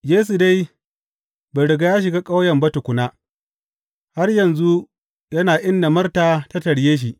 Yesu dai bai riga ya shiga ƙauyen ba tukuna, har yanzu yana inda Marta ta tarye shi.